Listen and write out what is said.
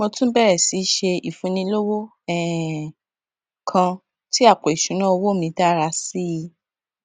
mo tún bèrè sí í ṣe ìfúnni lọwọ um kan tí àpò ìṣúnná owó mi dára sí i